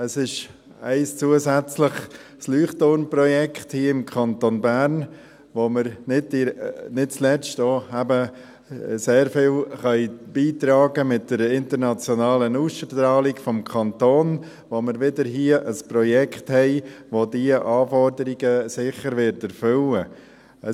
Es ist ein zusätzliches Leuchtturmprojekt hier im Kanton Bern, da wir nicht zuletzt auch eben sehr viel beitragen können mit einer internationalen Ausstrahlung des Kantons, bei der wir wieder hier ein Projekt haben, das diese Anforderungen sicher erfüllen wird.